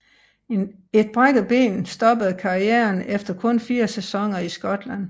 Et brækket ben stoppede karrieren efter kun fire sæsoner i Skotland